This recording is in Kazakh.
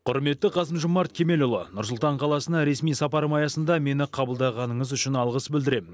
құрметті қасым жомарт кемелұлы нұр сұлтан қаласына ресми сапарым аясында мені қабылдағаныңыз үшін алғыс білдіремін